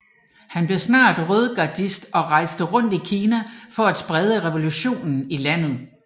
Han blev snart rødgardist og rejste rundt i Kina for at sprede revolutionen i landet